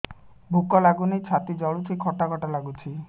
ଭୁକ ଲାଗୁନି ଛାତି ଜଳୁଛି ଖଟା ଖଟା ଲାଗୁଛି